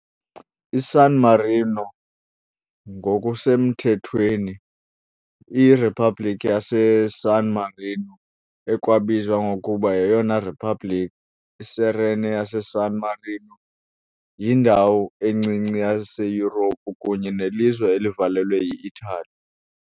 ISan Marino ngokusemthethweni iRiphabhlikhi yaseSan Marino ekwabizwa ngokuba yeyona Republic iSerene yaseSan Marino, yindawo encinci yaseYurophu kunye nelizwe elivalelwe yi-Itali .